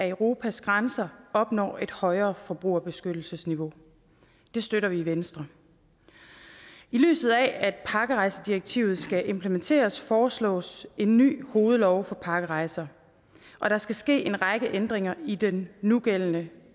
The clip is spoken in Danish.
europas grænser opnår et højere forbrugerbeskyttelsesniveau det støtter vi i venstre i lyset af at pakkerejsedirektivet skal implementeres foreslås en ny hovedlov for pakkerejser og der skal ske en række ændringer i den nugældende